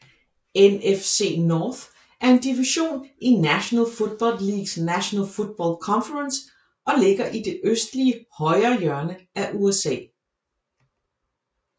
NFC North er en division i National Football Leagues National Football Conference og ligger i det nordlige højrehjørne af USA